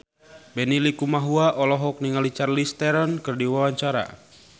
Benny Likumahua olohok ningali Charlize Theron keur diwawancara